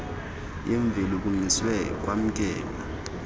yemveli kumiswe kwamkelwa